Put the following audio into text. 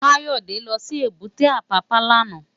Kayode lò si ébùté Apapa làná